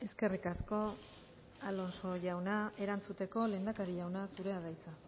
eskerrik asko alonso jauna erantzuteko lehendakaria jauna zurea da hitza